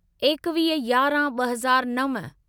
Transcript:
एकवीह यारहं ॿ हज़ार नव